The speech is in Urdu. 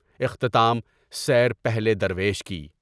اختتامِ سیر پہلے درویش کی